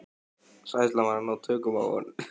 Hræðslan var að ná tökum á honum.